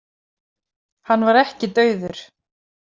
Hann var ekki dauður.